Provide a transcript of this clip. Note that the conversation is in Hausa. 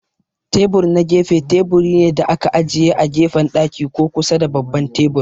Tebur na gefe teburi ne da aka ajiye a gefen daki ko kusa da babban tebur.